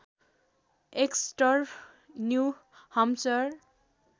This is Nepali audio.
Exter New Hampshire